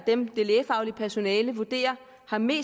den anden